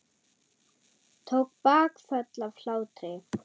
Tók bakföll af hlátri.